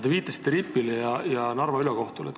Te viitasite RIP-ile ja Narva ülekohtule.